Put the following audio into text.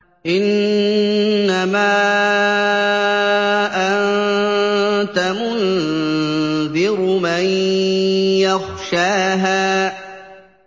إِنَّمَا أَنتَ مُنذِرُ مَن يَخْشَاهَا